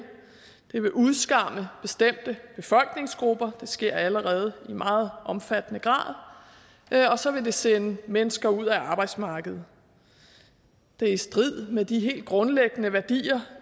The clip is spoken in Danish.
det vil udskamme bestemte befolkningsgrupper det sker allerede i meget omfattende grad og så vil det sende mennesker ud af arbejdsmarkedet det er i strid med de helt grundlæggende værdier